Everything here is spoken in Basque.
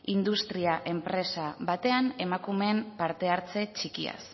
industria enpresa batean emakumeen parte hartze txikiaz